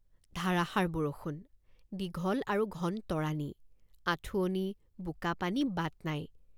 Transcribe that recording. ধাৰাসাৰ বৰষুণ দীঘল আৰু ঘন তৰাণি আঁঠুৱনি বোকাপানীবাট নাই।